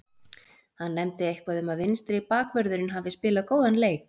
Hann nefndi eitthvað um að vinstri bakvörðurinn hafi spilað góðan leik.